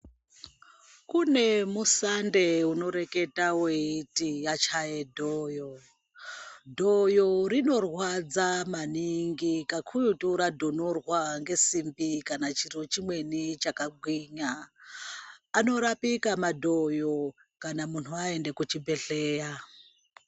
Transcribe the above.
Kune musande unoreketa weiti, 'yachaye dhoyo', dhoyo rinorwadza maningi kakurutu radhonorwaa nesimbi kana chiro chimweni chakagwinyaa. Anorapika madhoyo kana muntu waenda kuchibhedhleyaa.